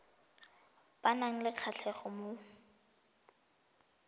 ba nang le kgatlhego mo